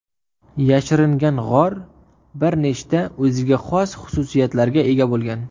yashiringan g‘or bir nechta o‘ziga xos xususiyatlarga ega bo‘lgan.